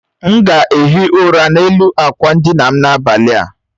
M ga ehi ụra n'elu akwa ndina m n'abalị a